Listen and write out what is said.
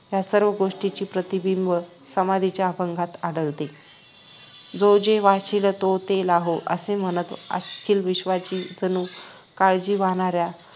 या सर्व गोष्टींचे प्रतिबिंब समाधीच्या अभंगात आढळतो जो जे वांछील तो ते लाहो असे म्हणत अखिल विश्वाची जणू काळजी वाहणाऱ्या